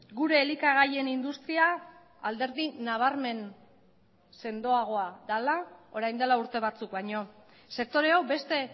gure elikagaien industria alderdi nabarmen sendoagoa dela orain dela urte batzuk baino sektore hau beste